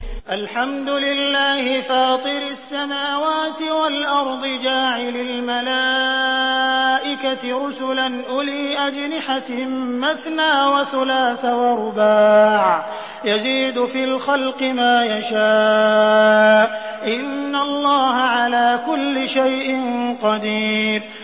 الْحَمْدُ لِلَّهِ فَاطِرِ السَّمَاوَاتِ وَالْأَرْضِ جَاعِلِ الْمَلَائِكَةِ رُسُلًا أُولِي أَجْنِحَةٍ مَّثْنَىٰ وَثُلَاثَ وَرُبَاعَ ۚ يَزِيدُ فِي الْخَلْقِ مَا يَشَاءُ ۚ إِنَّ اللَّهَ عَلَىٰ كُلِّ شَيْءٍ قَدِيرٌ